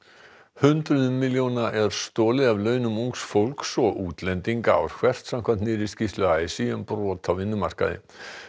hundruðum milljóna er stolið af launum ungs fólks og útlendinga ár hvert samkvæmt nýrri skýrslu a s í um brot á vinnumarkaði